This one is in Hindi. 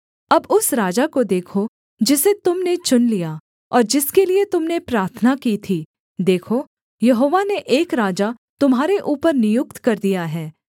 अब उस राजा को देखो जिसे तुम ने चुन लिया और जिसके लिये तुम ने प्रार्थना की थी देखो यहोवा ने एक राजा तुम्हारे ऊपर नियुक्त कर दिया है